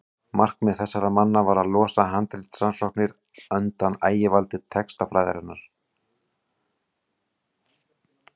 markmið þessara manna var að losa handritarannsóknir undan ægivaldi textafræðinnar